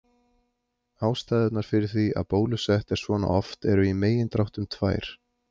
Ástæðurnar fyrir því að bólusett er svona oft eru í megindráttum tvær.